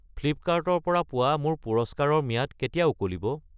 Flipkart ৰ পৰা পোৱা মোৰ পুৰস্কাৰৰ ম্যাদ কেতিয়া উকলিব?